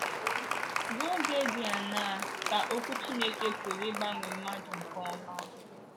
Ruo oge di aṅaa ka Okwu Chineke pụrụ ịgbanwe mmadụ nke ọma?